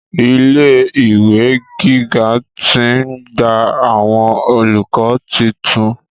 Ilé ìwé gíga ti ń gba àwọn olùkọ́ titun.